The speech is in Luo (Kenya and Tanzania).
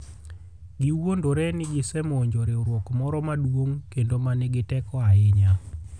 Giwuondore ni gisemonjo riwruok moro maduong' kendo ma nigi teko ahinya.